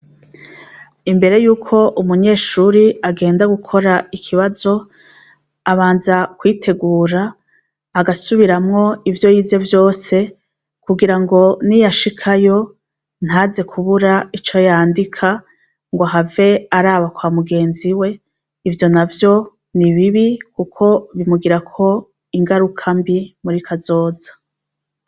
Imbere yuko umunyeshure agenda gukora ikibazo, abanza kwitegura agasubiramwo ivyo yize vyose kugirango ni yashikayo ntaze kubura ico yandika ngo ahave araba kwa mugenziwe ivyo navyo ni bibi kuko bimugirako ingaruka mbi muri kazoza.